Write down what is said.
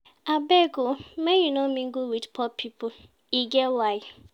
Abeg o, make you no mingle wit poor pipo, e get why.